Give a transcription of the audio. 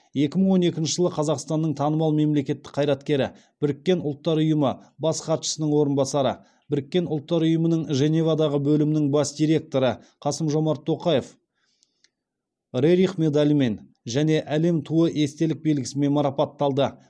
екі мың он екінші жылы қазақстанның танымал мемлекеттік қайраткері біріккен ұлттар ұйымы бас хатшысының орынбасары біріккен ұлттар ұйымының женевадағы бөлімінің бас директоры қасым жомарт тоқаев рерих медалімен және әлем туы естелік белгісімен марапатталды